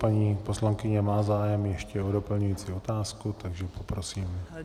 Paní poslankyně má zájem ještě o doplňující otázky, takže prosím.